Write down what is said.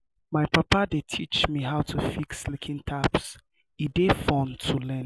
my papa dey teach me how to fix leaking taps e dey fun to learn.